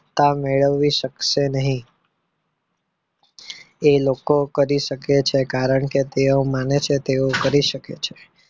તા મેળવી શકશે નહીં એ લોકો કરી શકે છે કારણ કે તેઓ માને છે તેઓ કરી શકે છે